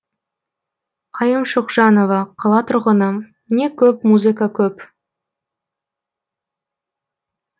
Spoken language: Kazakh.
айым шұқжанова қала тұрғыны не көп музыка көп